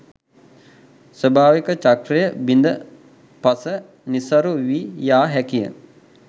ස්වභාවික චක්‍රය බිඳ පස නිසරු වී යා හැකිය.